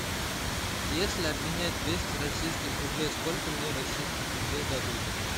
если обменять двести российских рублей сколько мне российских рублей дадут